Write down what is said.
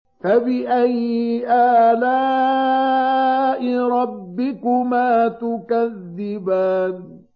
فَبِأَيِّ آلَاءِ رَبِّكُمَا تُكَذِّبَانِ